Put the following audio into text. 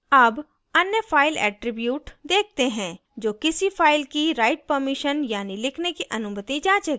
अब any file attribute देखते हैं जो किसी file की write premission यानी लिखने की अनुमति जाँचेगा